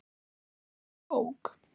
Frábær bók.